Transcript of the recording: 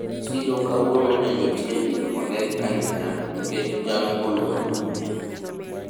siro kawuono ne nitie gik mang'eny ahinya nikech jal moluor no